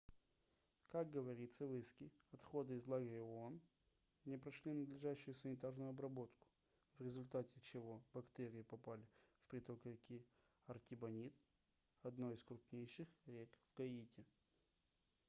как говорится в иске отходы из лагеря оон не прошли надлежащую санитарную обработку в результате чего бактерии попали в приток реки артибонит одной из крупнейших в гаити